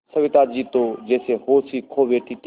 सविता जी तो जैसे होश ही खो बैठी थीं